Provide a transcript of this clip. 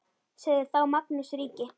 Sagði þá Magnús ríki: